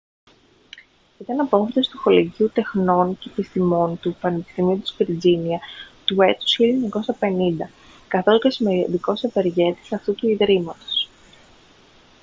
ήταν απόφοιτος του κολεγίου τεχνών και επιστημών του πανεπιστημίου της βιρτζίνια του έτους 1950 καθώς και σημαντικός ευεργέτης αυτού του ιδρύματος